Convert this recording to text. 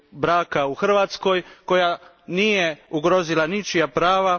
braka u Hrvatskoj, koja nije ugrozila ničija prava.